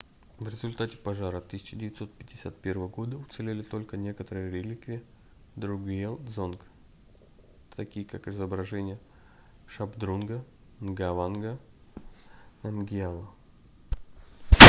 в результате пожара 1951 года уцелели только некоторые реликвии другьел-дзонг такие как изображение шабдрунга нгаванга намгьяла